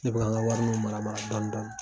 Ne bɛ ka n ka wariniw mara mara dɔni dɔni.